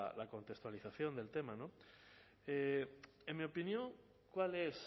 la contextualización del tema en mi opinión cuál es